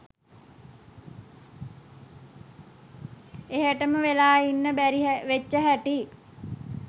එහේටම වෙලා ඉන්න බැරි වෙච්ච හැටි